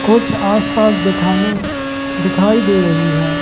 कुछ आसपास दुकानें दिखाई दे रही हैं।